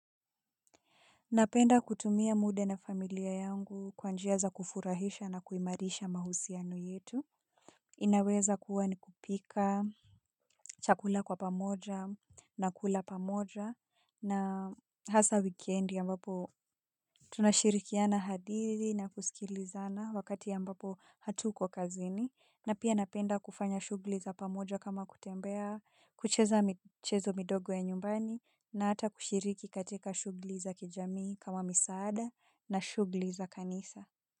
Napenda kutumia muda na familia yangu kwa njia za kufurahisha na kuimarisha mahusiano yetu. Inaweza kuwa ni kupika chakula kwa pamoja, na kula pamoja, hasa wikendi ambapo tunashirikiana hadithi na kusikilizana wakati ambapo hatuko kazini. Pia napenda kufanya shughuli za pamoja kama kutembea, kucheza michezo midogo ya nyumbani na hata kushiriki katika shughuli za kijamii kama misaada na shughuli za kanisa.